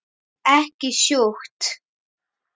Ekki sjúkt.